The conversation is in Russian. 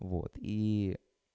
вот и